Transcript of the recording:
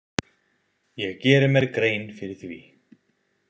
Ég geri mér grein fyrir því.